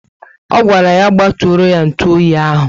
O gwara ya gbaturoo ya ntụ oyi ahu